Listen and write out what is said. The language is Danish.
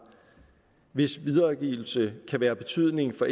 hvis videregivelse kan være af betydning for